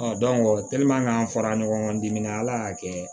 an fara ɲɔgɔn dimi ala y'a kɛ